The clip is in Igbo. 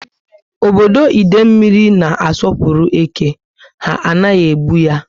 Ọbọdọ Idemili niile na asopuru eke. Ha anaghị egbu ya ya